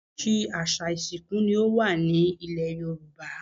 Oríṣiríṣi àṣà ìsìnkú ni o wa nilẹ̀ Yoruba